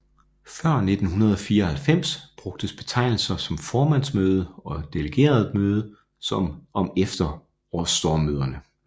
Før 1994 brugtes betegnelser som formandsmøde og delegeretmøde om efterårsstormøderne